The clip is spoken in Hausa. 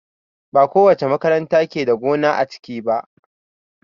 Bakowace makaranta ke da gona a ciki ba